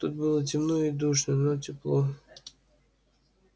тут было темно и душно но тепло